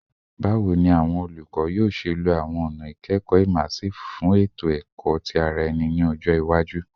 Bawo ni awọn olukọ yoo ṣe lo awọn ọna ikẹkọ immersive fun eto-ẹkọ ti ara ẹni ni ọjọ iwaju?